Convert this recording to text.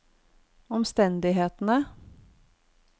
omstendighetene